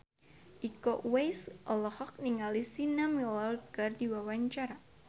Iko Uwais olohok ningali Sienna Miller keur diwawancara